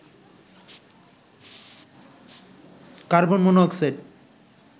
carbon mono oxide